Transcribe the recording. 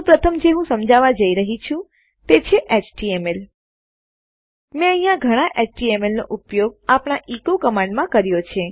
તો પ્રથમ જે હું સમજાવવા જઈ રહયો છુ તે છે htmlએચટીએમએલ મેં અહીંયા ઘણા એચટીએમએલ એચટીએમએલનો ઉપયોગ આપણા એચો એકો કમાંડમાં કર્યો છે